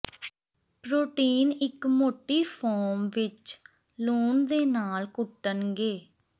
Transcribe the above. protein ਇੱਕ ਮੋਟੀ foam ਵਿੱਚ ਲੂਣ ਦੇ ਨਾਲ ਕੁੱਟਣਗੇ